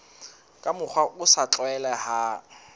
ka mokgwa o sa tlwaelehang